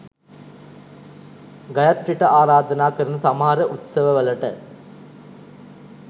ගයත්‍රිට ආරාධනා කරන සමහර උත්සවවලට